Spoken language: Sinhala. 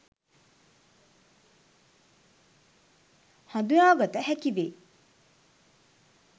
හදුනාගත හැකි වේ.